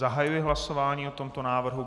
Zahajuji hlasování o tomto návrhu.